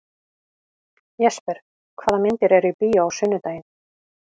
Jesper, hvaða myndir eru í bíó á sunnudaginn?